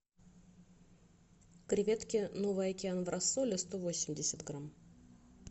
креветки новый океан в рассоле сто восемьдесят грамм